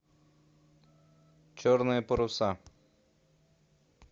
черные паруса